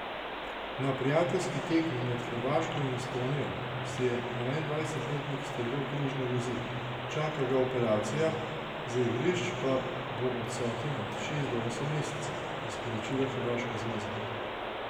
Na prijateljski tekmi med Hrvaško in Estonijo si je enaindvajsetletnik strgal križne vezi, čaka ga operacija, z igrišč pa bo odsoten od šest do osem mesecev, je sporočila hrvaška zveza.